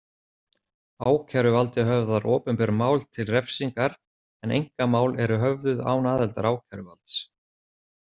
Ákæruvaldið höfðar opinber mál til refsingar en einkamál eru höfðuð án aðildar ákæruvalds.